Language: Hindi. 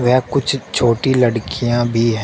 व कुछ छोटी लड़कियां भी ह--